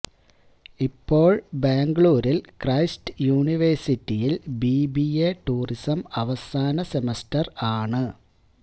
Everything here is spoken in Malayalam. ഇപ്പോള് ബാംഗ്ലൂരില് ക്രൈസ്റ്റ് യൂണിവേഴ്സിറ്റിയില് ബിബിഎ ടൂറിസം അവസാന സെമസ്റ്റര് ആണ്